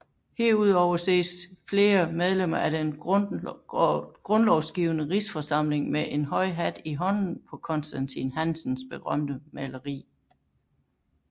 Herudover ses flere medlemmer af den Grundlovgivende Rigsforsamling med en høj hat i hånden på Constantin Hansens berømte maleri